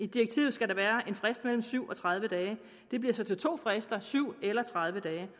direktivet skal der være en frist på mellem syv og tredive dage det bliver så til to frister syv eller tredive dage